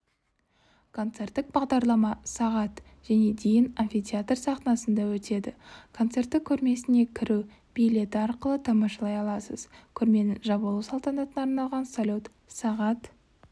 концерттік бағдарлама сағат және дейін амфитеатр сахнасында өтеді концертті көрмесіне кіру билеті арқылы тамашалай аласыз көрменің жабылу салтанатына арналған салют сағат